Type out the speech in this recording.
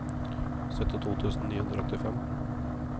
syttito tusen ni hundre og åttifem